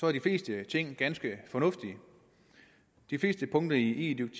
er de fleste ting ganske fornuftige de fleste punkter i